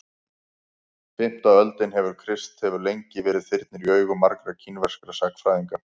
fimmta öldin eftir krist hefur lengi verið þyrnir í augum margra kínverskra sagnfræðinga